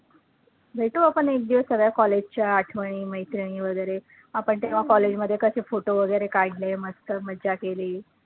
भेटू आपण एकदिवस सगळ्या college च्या आठवणी, मैत्रिणी वैगरे आपण तेव्हा college मध्ये कसे photo वैगरे काढले, मस्त मज्जा केली.